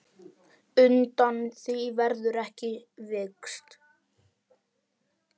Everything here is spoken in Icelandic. Undan því verður ekki vikist.